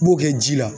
I b'o kɛ ji la